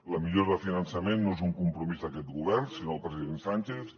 la millora de finançament no és un compromís d’aquest govern sinó del president sánchez